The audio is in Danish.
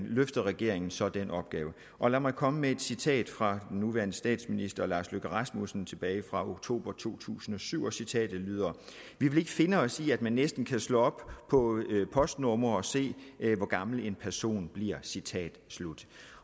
løfter regeringen så den opgave og lad mig komme med et citat fra den nuværende statsminister lars løkke rasmussen tilbage fra oktober to tusind og syv og citatet lyder vi vil ikke finde os i at man næsten kan slå op på postnumre og se hvor gammel en person bliver citat slut